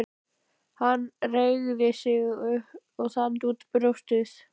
Hann reigði sig og þandi út brjóstið.